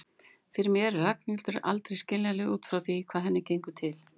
Fyrir mér er Ragnhildur aldrei skiljanleg út frá því hvað henni gengur til.